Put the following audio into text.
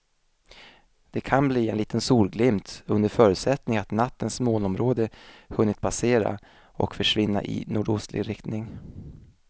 Det kan bli en liten solglimt under förutsättning att nattens molnområde hunnit passera och försvinna i nordostlig riktning.